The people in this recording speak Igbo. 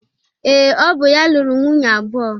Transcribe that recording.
Ee, ọ bụ ya lụrụ nwunye abụọ